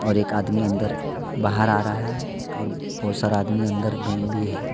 एक आदमी अंदर बाहर आ रहा है और बहुत सारा आदमी अंदर में भी है।